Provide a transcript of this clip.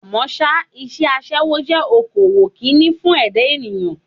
Àmọ́ ṣá, iṣẹ́ aṣẹ́wó jẹ́ okòwò Kínní fún ẹ̀dá èèyàn.